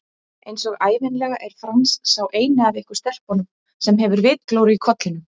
Einsog ævinlega er Franz sá eini af ykkur stelpunum sem hefur vitglóru í kollinum